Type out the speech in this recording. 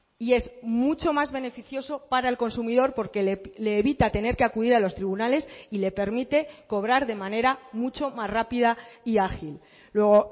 y es mucho más beneficioso para el consumidor porque le evita tener que acudir a los tribunales y le permite cobrar de manera mucho más rápida y ágil luego